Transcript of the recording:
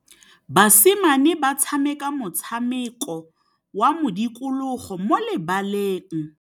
Basimane ba tshameka motshameko wa modikologô mo lebaleng.